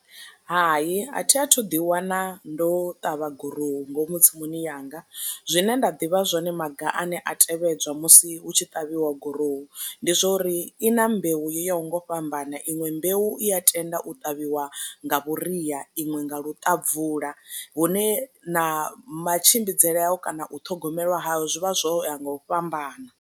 Hai a thi athu ḓi wana ndo ṱavha gurowu ngomu tsimuni yanga, zwine nda ḓivha zwone maga ane a tevhedzwa musi hu tshi ṱavhiwa gurowu ndi zwa uri i na mbeu yo yaho ngo fhambana iṅwe mbeu i ya tenda u ṱavhiwa nga vhuria iṅwe nga luṱabvula, hune na matshimbidzele a o kana u ṱhogomelwa hayo zwivha zwo ya nga u fhambana.